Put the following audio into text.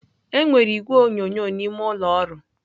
Enwere igwe onyonyo n'ime ụlọ ọrụ.